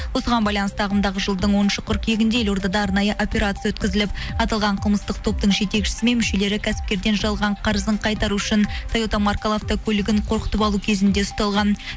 осыған байланысты ағымдағы жылдың оныншы қыркүйегінде елордада арнайы операция өткізіліп аталған қылмыстық топтың жетекшісі мен мүшелері кәсіпкерден жалған қарызын қайтару үшін тойота маркалы авто көлігін қорқытып алу кезінде ұсталған